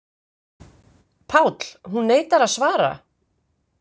PÁLL: Hún neitar að svara.